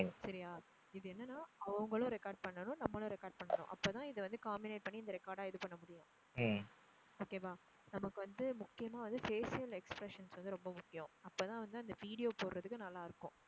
சரியா, இது என்னன்னா அவங்களும் record பண்ணனும் நம்மளும் record பண்ணணும். அப்போ தான் இதை வந்து comminate பண்ணி இந்த record ஆ இது பண்ண முடியும் okay வா? நமக்கு வந்து முக்கியமா வந்து facial expressions வந்து ரொம்ப முக்கியம். அப்போ தான் வந்து அந்த video போடுறதுக்கு நல்லா இருக்கும்.